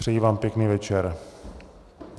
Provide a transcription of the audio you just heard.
Přeji vám pěkný večer.